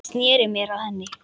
Ég sneri mér að henni.